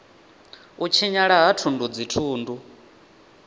u tshinyala ha thundu dzithundu